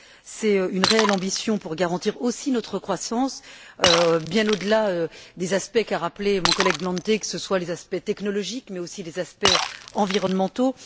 C'est une réelle ambition de garantir aussi notre croissance, bien au delà des aspects qu'a rappelés mon collègue Glante, que ce soit les aspects technologiques, mais aussi les aspects environnementaux.